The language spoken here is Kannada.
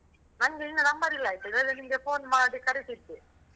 ನಂದು ನಿನ್ನ number ಇಲ್ಲ ಆಯ್ತಾ? ಇಲ್ಲಾದ್ರೆ ನಿಮ್ಗ phone ಮಾಡಿ ಕರೀತಿದ್ದೆ.